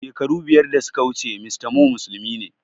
Shekaru biyar da suka wuce mr Moh musulmi ne